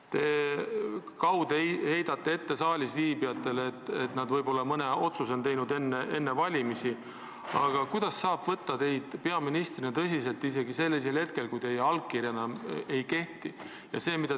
Te kaude heidate saalisviibijatele ette, et nad on enne valimisi mõne otsuse teinud, aga kuidas saab teid peaministrina tõsiselt võtta, kui teie allkiri enam ei kehti?